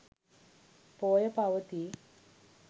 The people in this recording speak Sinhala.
පෝය පවතී.